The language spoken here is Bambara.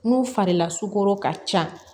N'u fari lasugu ka ca